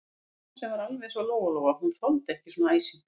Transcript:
Mamma sem var alveg eins og Lóa-Lóa, hún þoldi ekki svona æsing.